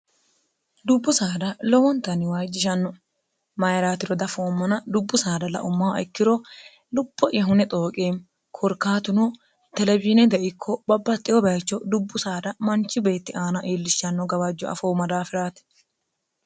dubbu saada lowontanniwayijjishanno mayiraatiro dafoommona dubbu saada laummaho ikkiro lupho'ya hune xooqeemi korkaatuno telebiine deikko babbatxeho bayicho dubbu saada manchi beetti aana iillishshanno gawajjo afoomma daafiraati